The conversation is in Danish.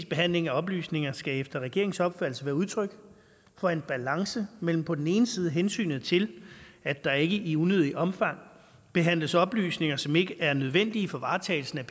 behandling af oplysninger skal efter regeringens opfattelse være udtryk for en balance mellem på den ene side hensynet til at der ikke i unødigt omfang behandles oplysninger som ikke er nødvendige for varetagelsen af